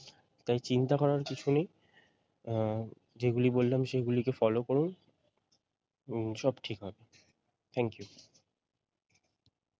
তাই চিন্তা করার কিছু নেই আহ যেগুলি বললাম সেগুলিকে follow করুন উম সব ঠিক হবে thank you.